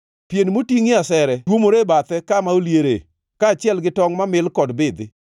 Pien motingʼie asere tuomore e bathe kama oliere, kaachiel gi tongʼ mamil kod bidhi.